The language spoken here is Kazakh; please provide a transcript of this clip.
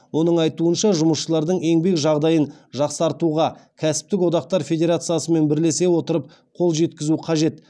оның айтуынша жұмысшылардың еңбек жағдайын жақсартуға кәсіптік одақтар федерациясымен бірлесе отырып қол жеткізу қажет